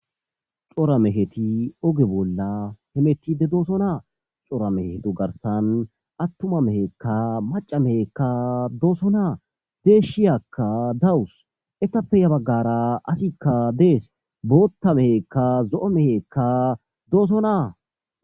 Cora meheti oge bolla hemetide dooso naa cora mehetu garsan attuma mehekka maca mehekka dooso naa deeshshiyakka dawus etappe ya baggara asikka dees bootta mehekka zo7o mehekka dooso naa.